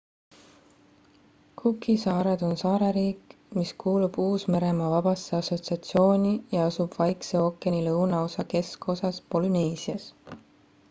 cooki saared on saareriik mis kuulub uus-meremaa vabasse assotsiatsiooni ja asub vaikse ookeani lõunaosa keskosas polüneesias